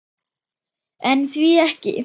En því ekki?